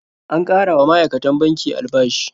An ƙara wa ma'aikatan banki albashi.